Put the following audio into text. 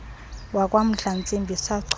wakwa mdlantsimbi sacholwa